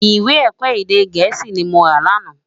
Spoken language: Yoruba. Iwé èkò édé gèési ni mó rá làná